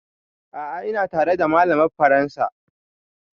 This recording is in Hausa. A'a ina tare da malamar faransa